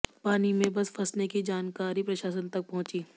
पानी में बस फंसने की जानकारी प्रशासन तक पहुंची